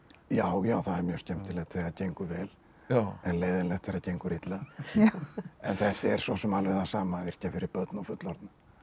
já já það er mjög skemmtilegt þegar það gengur vel en leiðinlegt þegar það gengur illa en þetta er svo sem alveg það sama að yrkja fyrir börn og fullorðna